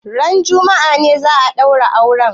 Ranar juma'a ne za a ɗaura auren?